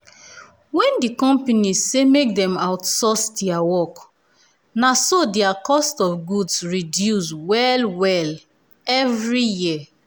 when di company say make dem outsource dia work naso dia cost um of goods reduce well-well um every year.